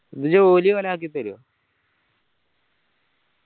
ഇത് ജോലി ഒരാക്കി തരോ